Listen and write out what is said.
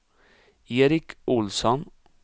Eric Olsson